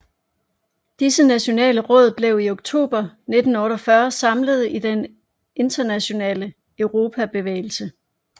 Disse nationale råd blev i oktober 1948 samlet i Den Internationale Europabevægelse